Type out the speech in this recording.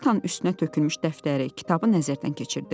Partanın üstünə tökülmüş dəftəri, kitabı nəzərdən keçirdi.